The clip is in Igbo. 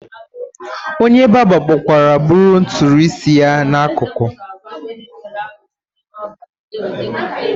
Onye barba kpọkwara bụrụ nturu isi ya na akụkụ.